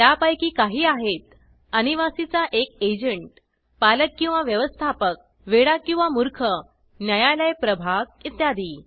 त्या पैकी काही आहेत अनिवासी चा एक एजंट पालक किंवा व्यवस्थापक वेडा किंवा मूर्ख न्यायालय प्रभाग इत्यादी